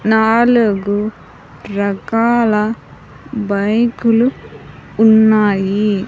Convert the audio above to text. నాలుగు రకాల బైకులు ఉన్నాయి .